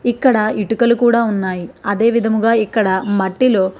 ఇక్కడ ఇటుకలు కూడా ఉన్నాయి. అదే విధముగా ఇక్కడ మట్టిలో --